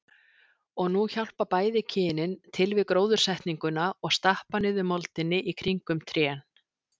Og nú hjálpa bæði kynin til við gróðursetninguna og stappa niður moldinni í kringum trén.